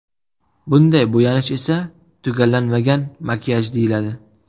Bunday bo‘yanish esa tugallanmagan makiyaj deyiladi.